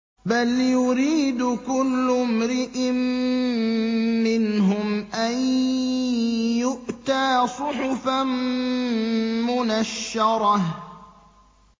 بَلْ يُرِيدُ كُلُّ امْرِئٍ مِّنْهُمْ أَن يُؤْتَىٰ صُحُفًا مُّنَشَّرَةً